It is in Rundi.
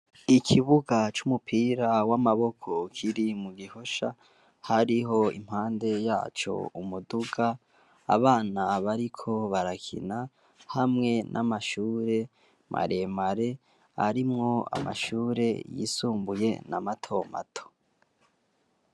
Ikibuga c'umupira w'amaboko kiri mu gihosha hariho impande yaco umuduga abana bariko barakina hamwe n'amashure maremare arimwo amashure yisumbuye na mato mato.